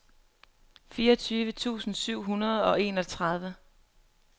fireogtyve tusind syv hundrede og enogtredive